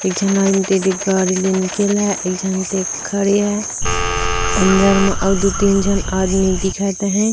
एक जन खड़ी हे और अंदर म अउ दु तीन झन आदमी दिखत अ है ।